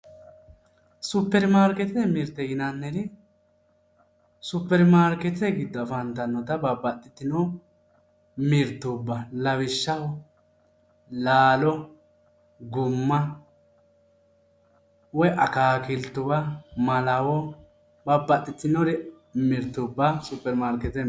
supirimaarkeetete mirte yinanniri supirinmaarkeetete giddo afantannota babaxitinno mirtuba lawishshaho laalo gumma woy akaakiltuwa malawo babbaxitinnore mirtuba supirimarkeetete